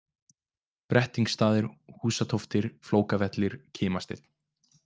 Brettingsstaðir, Húsatóftir, Flókavellir, Kimasteinn